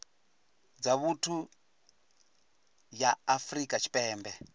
dza vhuthu ya afrika tshipembe